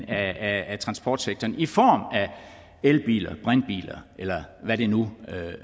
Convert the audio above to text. af transportsektoren i form af elbiler brintbiler eller hvad det nu